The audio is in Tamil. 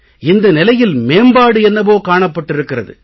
இந்த நிலையில் மேம்பாடு என்னவோ காணப்பட்டிருக்கிறது